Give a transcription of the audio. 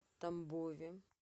тамбове